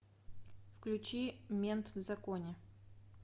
включи мент в законе